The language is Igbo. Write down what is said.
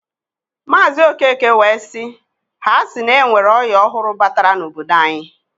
Maazi Okeke wee siː"Ha si na enwere oya ọhụrụ batara n'obodo anyi.